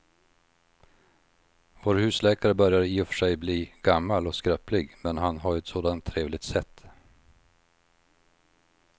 Vår husläkare börjar i och för sig bli gammal och skröplig, men han har ju ett sådant trevligt sätt!